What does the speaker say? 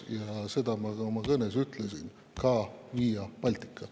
Ja seda ma ka oma kõnes ütlesin: "Ka Via Baltica.